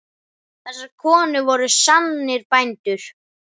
Þessar konur voru sannir bændur.